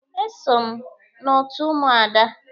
E so m n'otu Ụmụada.